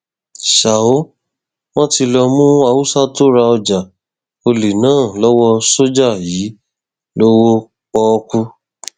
ṣá ò wọn ti lọọ mú haúsá tó ra ọjà ọlẹ náà lọwọ sójà yìí lọwọ pọọkú